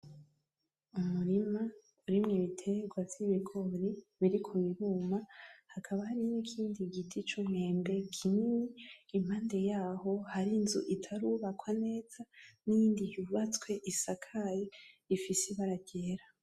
Umurima urimwo ibiterwa vy'ibigori biriko biruma hakaba hari n'ikindi giti c’umwembe kinini impande yaho hari inzu itarubakwa neza n'iyindi y’ubatswe isakaye ifise ibara ryera